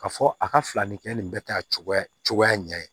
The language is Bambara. Ka fɔ a ka falani kɛ nin bɛ taa cogoya ɲɛ